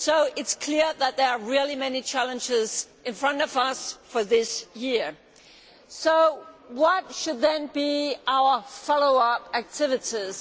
It is clear that there are many challenges in front of us this year. So what should be our follow up activities?